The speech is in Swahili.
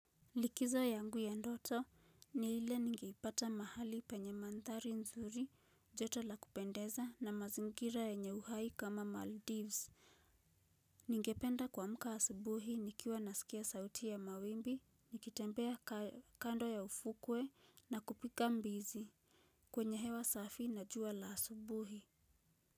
Likizo yangu ya ndoto ni ile nigepata mahali penye mandhari nzuri joto la kupendeza na mazingira nyenye uhai kama maldives ningependa kuamka asubuhi nikiwa nasikia sauti ya mawimbi nikitembea kando ya ufukwe na kupiga mbizi kwenye hewa safi na jua la asubuhi.